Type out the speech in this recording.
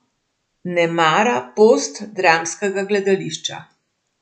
Ne mara postdramskega gledališča.